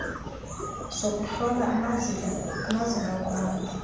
sokuhlola amazinga okuhamba